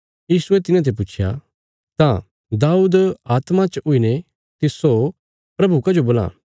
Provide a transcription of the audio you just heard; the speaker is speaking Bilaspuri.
यीशुये तिन्हांते पुच्छया तां दाऊद आत्मा च हुईने तिस्सो प्रभु कजो बोलां